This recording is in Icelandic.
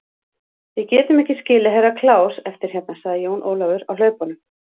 Við getum ekki skilið Herra Kláus eftir hérna, sagði Jón Ólafur á hlaupunum.